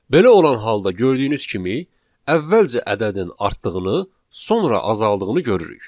Belə olan halda gördüyünüz kimi, əvvəlcə ədədin artdığını, sonra azaldığını görürük.